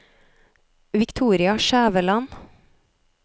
Victoria Skjæveland